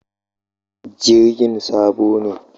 Jirgin sabo ne?